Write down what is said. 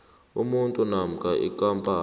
umuntu namkha ikampani